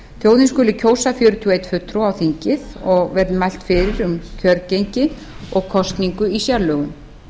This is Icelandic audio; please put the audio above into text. þjóðin skuli kjósa fjörutíu og einn fulltrúa á þingið og verði mælt fyrir um kjörgengi og kosningu í sérlögum